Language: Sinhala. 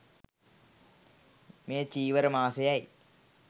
මේ චීවර මාසයයි.